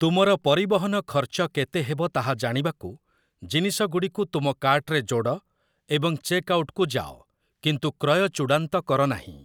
ତୁମର ପରିବହନ ଖର୍ଚ୍ଚ କେତେ ହେବ ତାହା ଜାଣିବାକୁ, ଜିନିଷଗୁଡ଼ିକୁ ତୁମ କାର୍ଟରେ ଯୋଡ଼ ଏବଂ ଚେକ୍ ଆଉଟ୍‌କୁ ଯାଅ, କିନ୍ତୁ କ୍ରୟ ଚୂଡ଼ାନ୍ତ କର ନାହିଁ ।